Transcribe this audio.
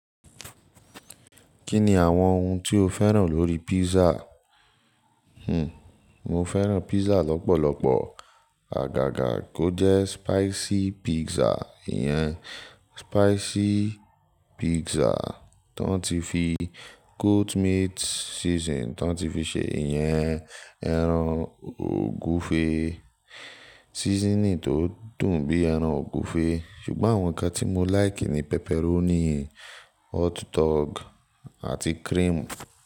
Kí ni àwọn ohun tí o fẹ́ràn lórí pizza? Hmm, mo fẹ́ràn pizza lọ́pọ̀lọpọ̀. Àgàgà kó jẹ́ spicy pizza, ìyẹn spicy pizza tó ti fi goat meat seasoning tó ti fi ṣe, ìyẹn ẹran ògúfe, seasoning tó dùn bí ẹran ògúfe. Ṣùgbọ́n àwọn ǹkan tí mo láìkì ni pepperoni, hot dog àti cream.